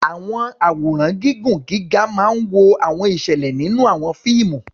Àwọn àwòrán igun gíga máa ń wo àwọn ìṣẹ̀lẹ̀ nínú àwọn fíìmù.